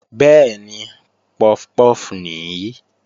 Bẹ́ẹ̀ni, puff puff nìí